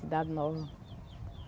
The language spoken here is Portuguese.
Cidade nova.